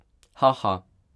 Ha, ha.